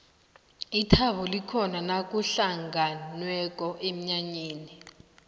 ithabo likhona nakuhlangenweko emnyanyeni